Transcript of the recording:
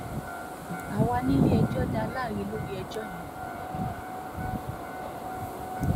um àwa nílé-ẹjọ́ dá láre lórí ẹjọ́ yẹn